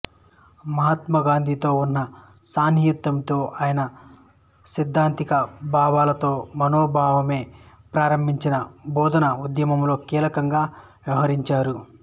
మహ్మాతాగాంధీతో ఉన్న సాన్నిహిత్యంతో ఆయన సైద్ధాంతిక భావాలతో వినోభాబావే ప్రారంభించిన భూధాన ఉద్యమంలో కీలకంగా వ్యవహరించారు